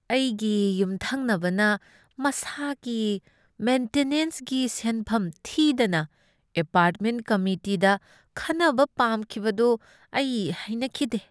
ꯑꯩꯒꯤ ꯌꯨꯝꯊꯪꯅꯕꯅ ꯃꯁꯥꯒꯤ ꯃꯦꯟꯇꯅꯦꯟꯁꯒꯤ ꯁꯦꯟꯐꯝ ꯊꯤꯗꯅ ꯑꯦꯄꯥꯔꯠꯃꯦꯟꯠ ꯀꯝꯃꯤꯇꯤꯗ ꯈꯟꯅꯕ ꯄꯥꯝꯈꯤꯕꯗꯨ ꯑꯩ ꯍꯩꯅꯈꯤꯗꯦ ꯫